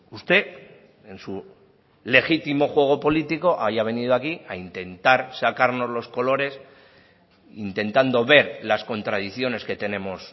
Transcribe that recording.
usted en su legítimo juego político haya venido aquí a intentar sacarnos los colores intentando ver las contradicciones que tenemos